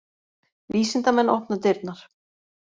Vísindamenn opna dyrnar